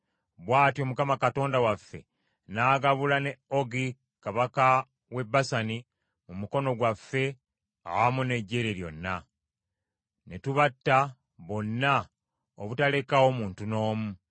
Bw’atyo Mukama Katonda waffe n’agabula ne Ogi Kabaka w’e Basani mu mukono gwaffe awamu n’eggye lye lyonna. Ne tubatta bonna obutalekaawo muntu n’omu.